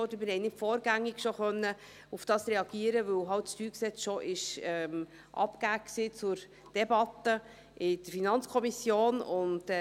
Wir konnten nicht vorgängig darauf reagieren, weil das StG bereits zur Debatte in der FiKo abgegeben war.